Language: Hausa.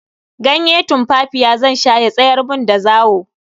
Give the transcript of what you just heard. Ganye tumfafiya zan sha ya tsayar mun da zawo.